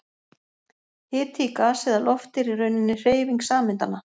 Hiti í gasi eða lofti er í rauninni hreyfing sameindanna.